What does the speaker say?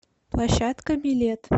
площадка билет